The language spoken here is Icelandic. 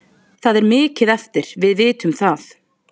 Það er mikið eftir, við vitum það.